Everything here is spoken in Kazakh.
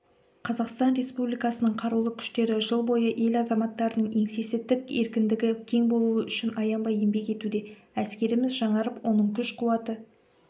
қазақстан республикасының қарулы күштері жыл бойы ел азаматтарының еңсесі тік еркіндігі кең болуы үшін аянбай еңбек етуде әскеріміз жаңарып оның күш-қуаты